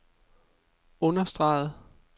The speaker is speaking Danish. understregede